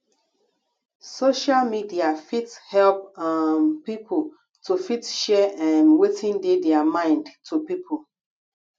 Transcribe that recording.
social media fit help um pipo to fit share um wetin dey their mind to pipo